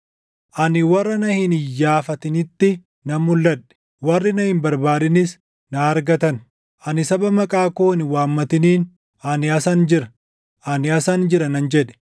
“Ani warra na hin iyyaafatinitti nan mulʼadhe; warri na hin barbaadinis na argatan. Ani saba maqaa koo hin waammatiniin, ‘Ani asan jira; ani asan jira’ nan jedhe.